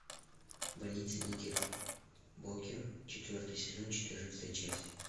больница никербокер четвертый сезон четырнадцатая часть